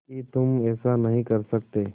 कि तुम ऐसा नहीं कर सकते